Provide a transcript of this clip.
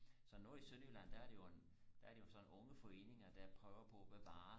så nede i sønderjylland der er det jo en der er det jo sådan en unge foreninger der prøver på og bevare